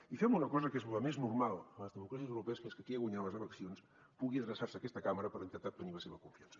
i fem una cosa que és la més normal en les democràcies europees que és que qui ha guanyat les eleccions pugui adreçar se a aquesta cambra per intentar obtenir la seva confiança